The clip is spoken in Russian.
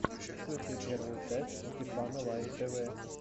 включи первую часть стефана лайф тв